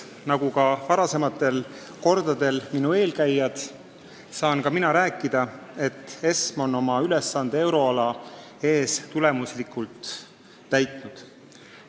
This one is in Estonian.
Nagu varasematel kordadel minu eelkäijad, saan ka mina kinnitada, et ESM on oma ülesande euroala ees tulemuslikult täitnud.